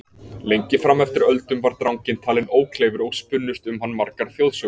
Lengi fram eftir öldum var dranginn talinn ókleifur og spunnust um hann margar þjóðsögur.